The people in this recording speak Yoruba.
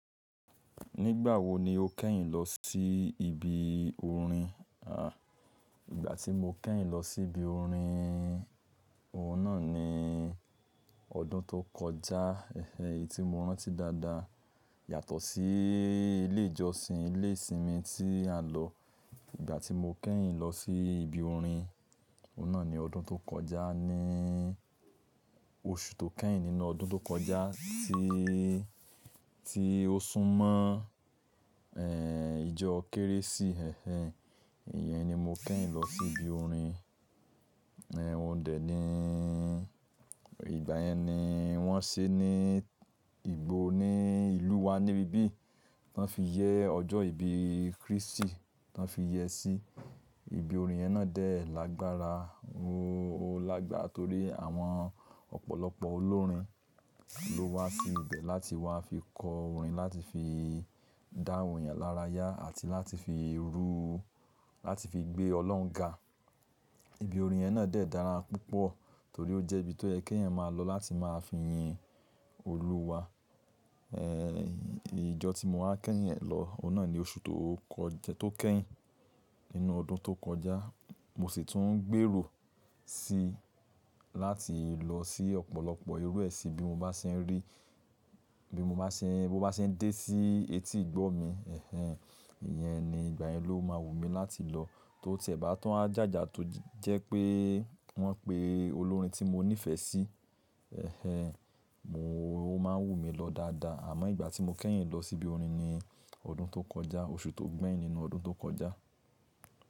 Nígbà wo ni o kẹ́yìn lọ sí ibi orin? À, ìgbà tí mo kẹ́yìn lọ sí ibi orin, ohun náà ni ọdún tó kọjá. Ẹ̀hẹ̀n, èyí tí mo rántí dáadáa yàtọ̀ sí ilé ìjọsìn, ilé ìsinmi tí a lọ. Ìgbà tí mo kẹ́yìn lọ sí ibi orin, ohun náà ni ọdún tó kọjá ní oṣù tó kẹ́yìn nínú ọdún tó kọjá tí, tí o sún mọ́, ẹ́ẹ̀, ìjọ Kérésì. Ẹ̀hẹ̀n, ìyẹn ni mo kẹ́yìn lọ sí ibi orin. Ẹ̀ẹ̀, ó dẹ̀ ní ìgbà yẹn ni wọ́n ṣe ní, ìgbo ní ìlú wa níbí bí, tán fi yẹ ọjọ́ ìbí Krístì, tán fi yẹ sí ibi orin. Iyẹ̀n, náà dẹ̀ lágbára, o lágbára torí àwọn ọ̀pọ̀lọpọ̀ olórin ló wá sí ibẹ̀ láti wá fi kọ orin, láti fi dá awon eyan lára yá àti láti fi rú, láti fi gbé Ọlọ́run ga. Ibi orin yẹn náà dẹ̀ dára púpọ̀ torí ó jẹ́ ibi tó yẹ kí ẹyan máa lọ láti máa fi yin Olúwa. Ẹ́ẹ̀, ìjọ tí mo wáa kẹ́yìn ẹ̀ lọ, òun náà ni oṣù tó kọjá, tó kẹ́yìn nínú ọdún tó kọjá. Mo sì tún ń gbèrò sí láti lọ sí ọ̀pọ̀lọpọ̀ irú ẹṣi bí mo bá ṣe ń rí, bí mo bá ṣe ń, bí mo bá ṣe ń dé sí etí ìgbọ́ mi. Ẹ̀hẹ̀n, ìyẹn ni ìgbà yẹn ló máa wù mí láti lọ tó ti ẹ̀bá tun wa, jája tó jẹ́ pé wọ́n pé olórin tí mo nífẹ̀ẹ́ sí. Ẹ̀hẹ̀n, mo máa ń wù mí lọ dáadáa. Àmọ́ ìgbà tí mo kẹ́yìn lọ sí ibi orin ni ọdún tó kọjá, oṣù tó gbẹ̀yìn nínú ọdún tó kọjá.